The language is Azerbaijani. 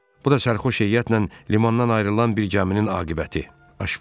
Bu da sərxoş heyətlə limandan ayrılan bir gəminin aqibəti, Aşpaz dilləndi.